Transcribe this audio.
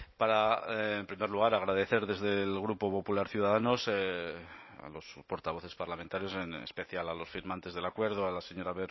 para en primer lugar agradecer desde el grupo popular ciudadanos a los portavoces parlamentarios en especial a los firmantes del acuerdo a la señora